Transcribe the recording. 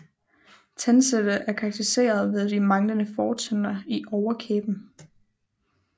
Tandsættet er karakteriseret ved de manglende fortænder i overkæben